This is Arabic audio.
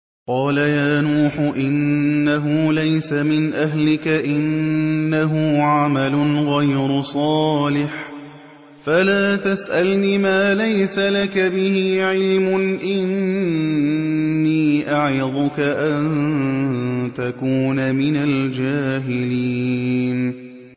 قَالَ يَا نُوحُ إِنَّهُ لَيْسَ مِنْ أَهْلِكَ ۖ إِنَّهُ عَمَلٌ غَيْرُ صَالِحٍ ۖ فَلَا تَسْأَلْنِ مَا لَيْسَ لَكَ بِهِ عِلْمٌ ۖ إِنِّي أَعِظُكَ أَن تَكُونَ مِنَ الْجَاهِلِينَ